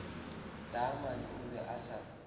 taamane o be a sa